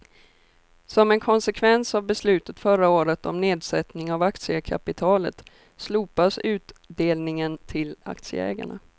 Som en konsekvens av beslutet förra året om nedsättning av aktiekapitalet slopas utdelningen till aktieägarna.